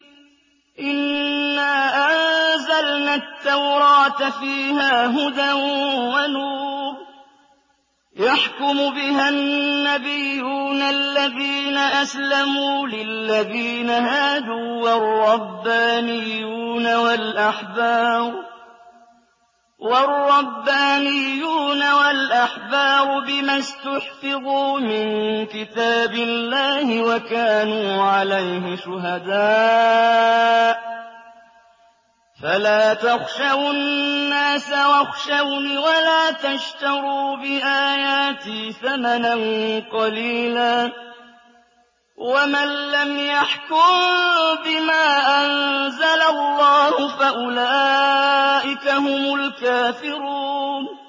إِنَّا أَنزَلْنَا التَّوْرَاةَ فِيهَا هُدًى وَنُورٌ ۚ يَحْكُمُ بِهَا النَّبِيُّونَ الَّذِينَ أَسْلَمُوا لِلَّذِينَ هَادُوا وَالرَّبَّانِيُّونَ وَالْأَحْبَارُ بِمَا اسْتُحْفِظُوا مِن كِتَابِ اللَّهِ وَكَانُوا عَلَيْهِ شُهَدَاءَ ۚ فَلَا تَخْشَوُا النَّاسَ وَاخْشَوْنِ وَلَا تَشْتَرُوا بِآيَاتِي ثَمَنًا قَلِيلًا ۚ وَمَن لَّمْ يَحْكُم بِمَا أَنزَلَ اللَّهُ فَأُولَٰئِكَ هُمُ الْكَافِرُونَ